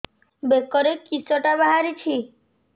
ବେକରେ କିଶଟା ବାହାରିଛି